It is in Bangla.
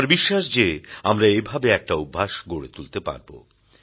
আমার বিশ্বাস যে আমরা এভাবে একটা অভ্যাস গড়ে তুলতে পারব